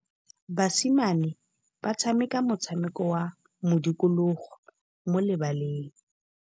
Basimane ba tshameka motshameko wa modikologô mo lebaleng.